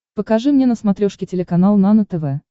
покажи мне на смотрешке телеканал нано тв